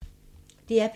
DR P2